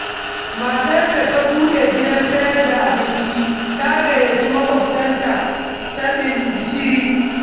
Matar da ta buɗe gidan sayar da abincin, ta gayyaci Maƙwabta taɓin-gishiri.